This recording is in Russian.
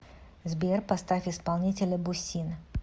сбер поставь исполнителя бусин